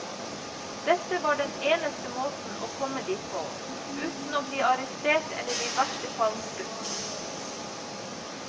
Dette var den eneste måten å komme dit på, uten å bli arrestert eller i verste fall skutt.